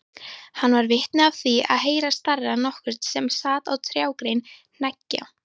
Hann varð vitni af því að heyra starra nokkurn sem sat á trjágrein hneggja.